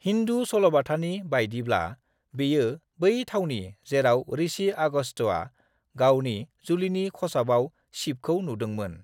हिन्दु सल'बाथानि बायदिब्ला, बेयो बै थावनि जेराव ऋषि आगस्त्यआ गावनि जुलिनि खसाबाव शिबखौ नुदोंमोन।